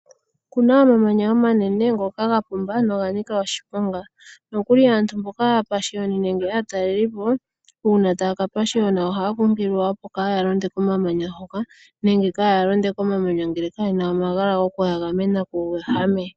Okuna omamanya omanene ngoka ga pumba noga nika oshiponga nokuli aantu mboka aapashiyoni nenge aatalelipo uuna taya ka pashiyona ohaya kunkililwa opo kaa ya londe komamanya hoka nenge kaa ya londe komamanya ngele kayena omagala gokuya gamena kuuwehame.